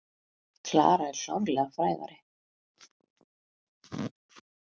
Klara er klárlega frægari.